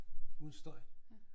Uden støj